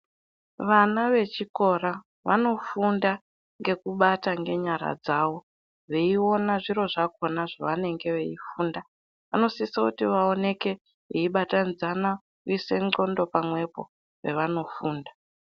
Vana vechikora vanofunda ngekubata ngenyara dzavo veiona zviro zvakona zvavaneme veifunda vanosisa kuti vaoneke veibatanidxana kuise ndxondo pamwepo pevanofunda.